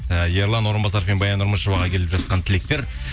і ерлан орынбасаров пен баян нұрмышеваға келіп жатқан тілектер